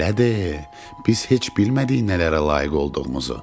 Belədir, biz heç bilmədik nələrə layiq olduğumuzu.